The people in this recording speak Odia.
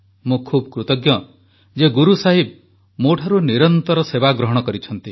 ମୁଁ ବହୁତ କୃତଜ୍ଞ ଯେ ଗୁରୁ ସାହିବ ମୋଠାରୁ ନିରନ୍ତର ସେବା ଗ୍ରହଣ କରିଛନ୍ତି